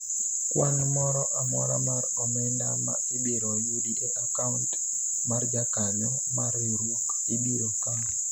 kwan moro amora mar omenda ma ibiro yudi e akaunt mar jakanyo mar riwruok ibiro kawu